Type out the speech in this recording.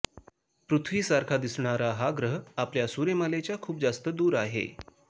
पृथ्वीसारखा दिसणारा हा ग्रह आपल्या सूर्यमालेच्या खूप जास्त दूर आहे